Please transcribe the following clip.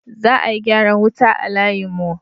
Za a yi gyaran wuta a layin mu